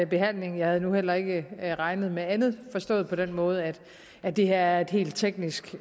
behandlingen jeg havde nu heller ikke regnet med andet forstået på den måde at at det her er et helt teknisk